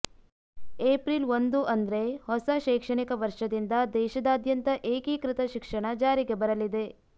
April ಒಂದು ಅಂದ್ರೆ ಹೊಸ ಶೈಕ್ಷಣಿಕ ವರ್ಷದಿಂದ ದೇಶದಾದ್ಯಂತ ಏಕೀಕೃತ ಶಿಕ್ಷಣ ಜಾರಿಗೆ ಬರಲಿದೆ